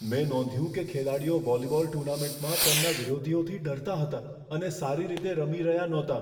મેં નોંધ્યું કે ખેલાડીઓ વોલીબોલ ટુર્નામેન્ટમાં તેમના વિરોધીઓથી ડરતા હતા અને સારી રીતે રમી રહ્યા નહોતાં.